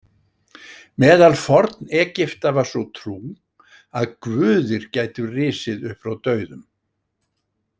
Meðal Forn-Egipta var sú trú að guðir gætu risið upp frá dauðum.